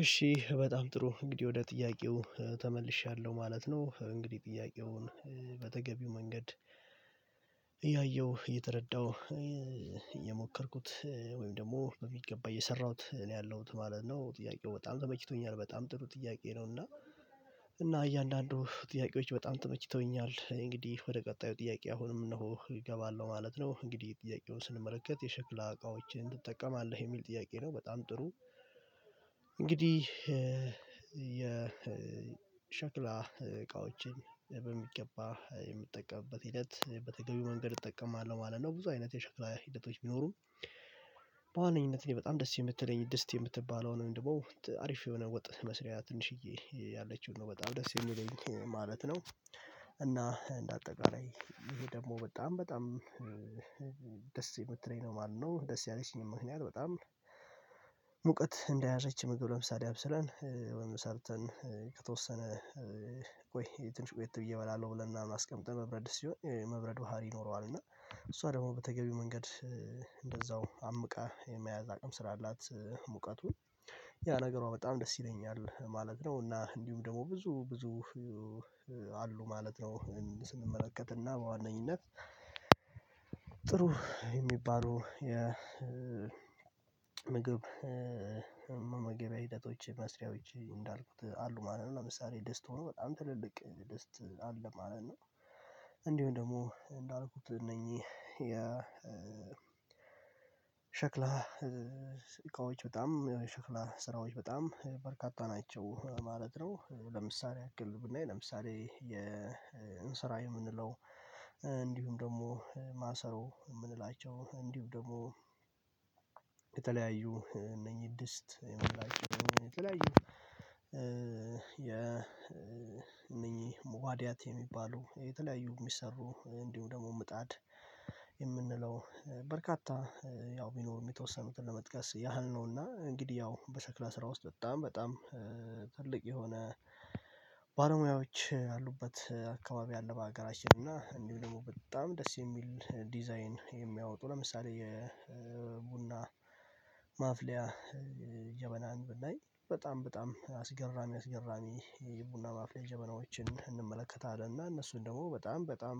እሺ በጣም ጥሩ እንግዲህ ወደ ጥያቄው ተመልሻለሁ ማለት ነው። እንግዲህ ጥያቄውን መንገድ እያየሁ እየተረዳሁ እየሞከርኩት ወይም ደግሞ በሚገባ የሰራሁት እኔ ያለሁት ማለት ነው። ጥያቄው በጣም ተመችቶኛል በጣም ጥሩ ጥያቄ ነው። እና እና እያንዳንዱ ጥያቄዎች በጣም ተመችተውኛል እንግዲህ ወደ ቀጣዩ ጥያቄ አሁንም እነሆ እገባለሁ ማለት ነው። እንግዲህ ጥያቄውን ስንመለከት የሸክላ እቃዎችን ትጠቀማለህ የሚል ጥያቄ ነው? በጣም ጥሩ እንግዲህ የሸክላ እቃዎችን በሚገባ የምጠቀምበት ሂደት በተገቢው መንገድ እጠቀማለሁ ማለት ነው። ብዙ አይነት የሸክላ ሂደቶች ቢኖሩም በዋነኝነት በጣም ደስ የምትለኝ ድስት የምትባለው ነው አሪፍ የሆነ ወጥ መስሪያ ትንሽዬ ያለችው ነው በጣም ደስ የሚለኝ ማለት ነው። እና እንደ አጠቃላይ ይሄ ደግሞ በጣም በጣም ደስ የምትለኝ ነው ማለት ነው። ደስ ያለችኝም ምክንያት በጣም ሙቀት እንዳያዘች ምግብ ለምሳሌ አብስለን ሰርተን ከተወሰነ ቆይ ትንሽ ቆየት ብዬ እበላለሁ ብለናል አስቀምጠን በብረትድስት ሲሆን የመብረድ ባህሪ ይኖረዋል። እና እሷ ደግሞ በተገቢው መንገድ እንደዛው አምቃ የመያዝ አቅም ስላላት ሙቀቱን ያ ነገሯ በጣም ደስ ይለኛል ማለት ነው። እና እንዲሁም ደግሞ ብዙ ብዙ አሉ ማለት ነው ስንመለከትና በዋነኝነት ጥሩ የሚባሉ የምግብ መመገቢያ ሂደቶች መስሪያዎች እንዳልኩት አሉ ማለት ነው። ለምሳሌ ድስት ሆኖ በጣም ትልልቅ ድስት አለ ማለት ነው። እንዲሁ ደግሞ እንዳልኩት እነኚህ የ ሸክላ እቃዎች በጣም ሸክላ ስራዎች በጣም በርካታ ናቸው ማለት ነው። ለምሳሌ ያክል ብናይ ለምሳሌ የእንስራ የምንለው እንዲሁም ደግሞ ማሰሮ የምንላቸው እንዲሁ ደግሞ የተለያዩ እነኚህ ድስት የምንላቸው የተለያዩ የነኚህ መዋዲያት የሚባለው የተለያዩ የሚሰሩ እንዲሁ ደግሞ ምጣድ የምንለው በርካታ ያው ቢኖርም የተወሰኑትን ለመጥቀስ ያህል ነው። እና እንግዲህ ያው በሰክላ ስራ ውስጥ በጣም በጣም ትልቅ የሆነ ባለሙያዎች አሉበት አካባቢ ያለው በሀገራችን እና እንዲሁ ደግሞ በጣም ደስ የሚል ዲዛይን የሚያወጡ ለምሳሌ የቡና ማፍሊያ ጀበናን ብናኝ በጣም በጣም አስገራሚ አስገራሚ የቡና ማፍያ ጀበናዎችን እንመለከታለን። እና እነሱን ደግሞ በጣም በጣም